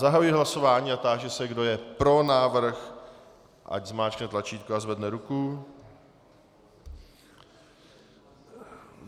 Zahajuji hlasování a táži se, kdo je pro návrh, ať zmáčkne tlačítko a zvedne ruku.